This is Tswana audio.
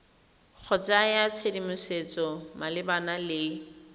go naya tshedimosetso malebana le